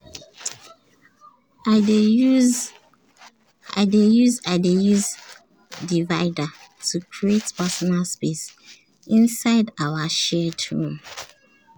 i dey use i dey use divider to create personal space inside our shared room.